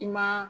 I ma